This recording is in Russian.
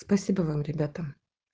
спасибо вам ребята